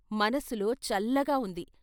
మనసులో చల్లగా ఉంది.